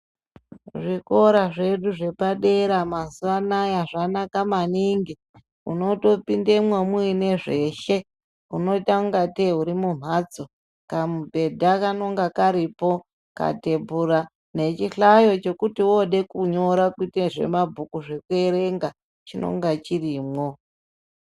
Zvikora zvedu zvepadera mazuva anaya zvanaka maningi. Unotopindemo muine zveshe. Unotangatei uri mumhatso. Kamubhedhu kanenge karipo, katebura nechihlayo chekuti woodekunyora kuite zvemabhuku, zvekuerenga chinonga chirimwo.